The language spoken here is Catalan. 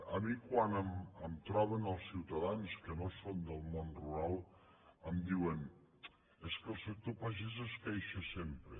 a mi quan em troben els ciutadans que no són del món rural em diuen és que el sector pagès es queixa sempre